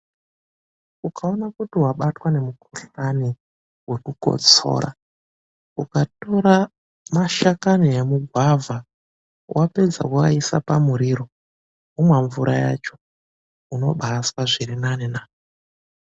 Ukaona kuti wabatwa nemukhuhlani wekukotsora, ukatora mashakani emugwavha wapedza woaisa pamuriro womwa mvura yacho unobaazwa zvirinani naa!